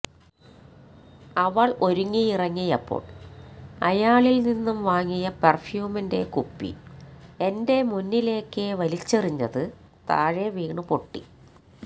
അവൾ ഒരുങ്ങിയിറങ്ങിയപ്പോൾ അയാളിൽ നിന്നും വാങ്ങിയ പെർഫ്യൂമിന്റെ കുപ്പി എന്റെ മുന്നിലേക്ക് വലിച്ചെറിഞ്ഞത് താഴെവീണ് പൊട്ടി